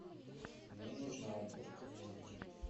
мне нужна уборка в номере